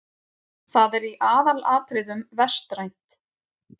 Það er í aðalatriðum vestrænt.